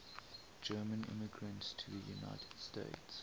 german immigrants to the united states